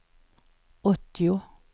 åttio